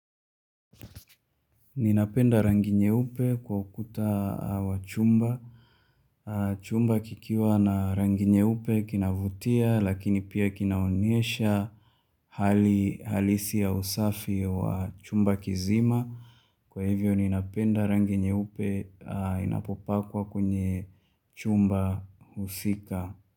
Ninapenda rangi nyeupe kwa ukuta wa chumba. Chumba kikiwa na rangi nyeupe kinavutia lakini pia kinaonyesha hali halisi ya usafi wa chumba kizima. Kwa hivyo ninapenda rangi nyeupe inapopakwa kwenye chumba husika.